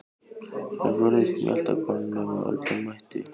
Þær vörðust mjaltakonunum af öllum mætti.